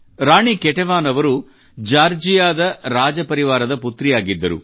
ರಾಣಿ Ketevan ಅವರು ಜಾರ್ಜಿಯಾದ ರಾಜಪರಿವಾರದ ಪುತ್ರಿಯಾಗಿದ್ದರು